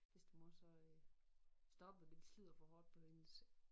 Bedstemor så øh stoppet det slider for hårdt på hendes